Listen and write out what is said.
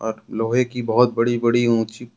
लोहे की बहोत बड़ी बड़ी ऊंची--